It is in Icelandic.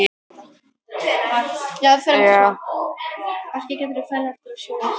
Fréttamaður: En hefðuð þið ekki getað látið vita af ykkur?